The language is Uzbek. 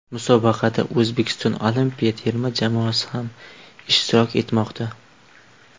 Musobaqada O‘zbekiston olimpiya terma jamoasi ham ishtirok etmoqda.